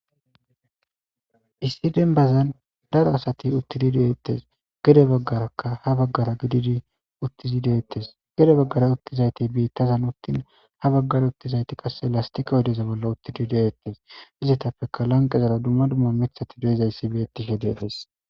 Issi denbazan daro asati uttidi de'etees; gede bagaarakka ha bagaara gididi uttidi de'etees, gede bagaara uttizayti biitazan uttin ha bagaara uttizayti qasse lastiqe oydeza bolla uttidi de'etees; izetapekka lanqerara dumma dumma miththati de'izayssi beetishe de'es.